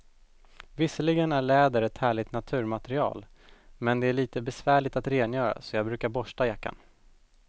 Visserligen är läder ett härligt naturmaterial, men det är lite besvärligt att rengöra, så jag brukar borsta jackan.